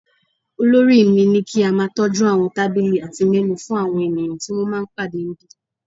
Olórí mi ní kí a máa tọ́jú àwọn tábìlì àti menù fún àwọn ènìyàn tí wọ́n ń pàdé níbí